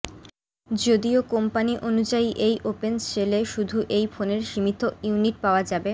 যদিও কোম্পানি অনুযায়ী এই ওপেন সেলে শুধু এই ফোনের সীমিত ইউনিট পাওয়া যাবে